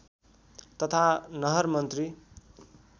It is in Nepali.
तथा नहर मन्त्री